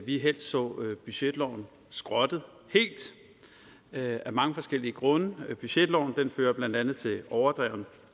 vi helst så budgetloven skrottet helt af mange forskellige grunde budgetloven fører blandt andet til overdreven